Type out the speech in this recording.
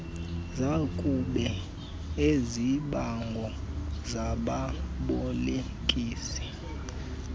zakube izibango zababolekisi